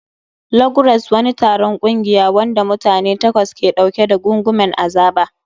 Log Race. Wani taron ƙungiya, wanda mutane takwas ke ɗauke da gungumen azaba.